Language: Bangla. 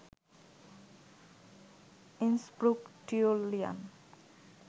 Innsbruck Tyrolean